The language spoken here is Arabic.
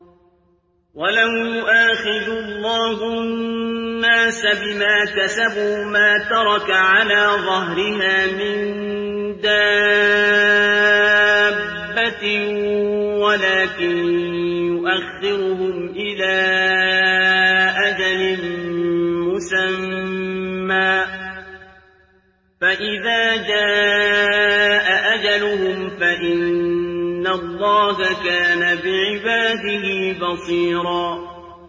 وَلَوْ يُؤَاخِذُ اللَّهُ النَّاسَ بِمَا كَسَبُوا مَا تَرَكَ عَلَىٰ ظَهْرِهَا مِن دَابَّةٍ وَلَٰكِن يُؤَخِّرُهُمْ إِلَىٰ أَجَلٍ مُّسَمًّى ۖ فَإِذَا جَاءَ أَجَلُهُمْ فَإِنَّ اللَّهَ كَانَ بِعِبَادِهِ بَصِيرًا